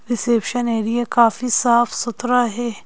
Reception area काफी साफ-सुथरा है।